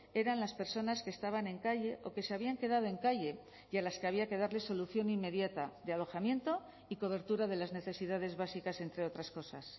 eran las personas que estaban en calle o que se habían quedado en calle y a las que había que darle solución inmediata de alojamiento y cobertura de las necesidades básicas entre otras cosas